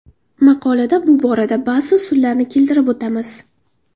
Maqolada bu borada ba’zi usullarni keltirib o‘tamiz.